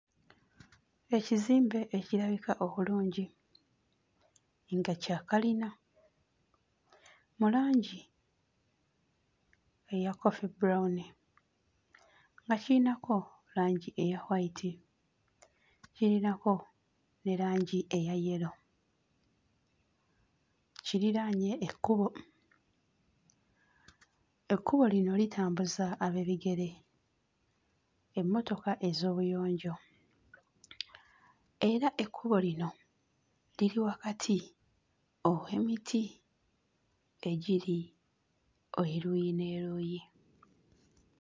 Ekizimbe ekirabika obulungi nga kya kalina mu langi eya coffee brown nga kirinako langi eya white, kiyinako ne langi eya yellow. Kirinaanye ekkubo, ekkubo lino litambuza ab'ebigere, emmotoka ez'obuyonjo era ekkubo lino liri wakati ow'emiti o egiri eruuyi n'eruuyi.